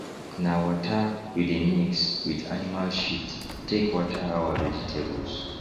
na waterwe dey mix with animal shit take water our vegetables